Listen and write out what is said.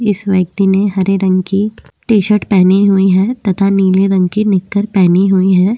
इस व्यक्ति ने हरे रंग की टी-शर्ट पहनी हुई है तथा नीले रंग की निकर पहनी हुई है।